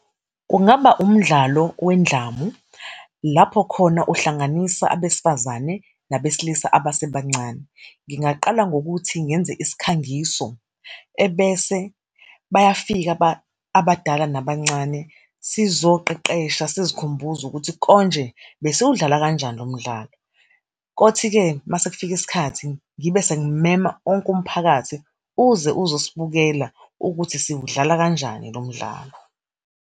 Kungaba umdlalo wendlamu, lapho khona uhlanganisa abesifazane nabesilisa abasebancane. Ngingaqala ngokuthi ngenze isikhangiso, ebese bayafika abadala yabancane, sizoqeqesha, sizikhumbuze ukuthi konje besiwudlala kanjani lo mdlalo. Kothi-ke masekufika isikhathi ngibe sengimema onke umphakathi, uze uzosibukela ukuthi siwudlala kanjani lo mdlalo.